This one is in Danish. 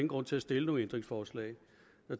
grund til at stille nogen ændringsforslag